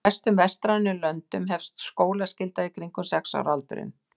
Í flestum vestrænum löndum hefst skólaskylda í kringum sex ára aldurinn.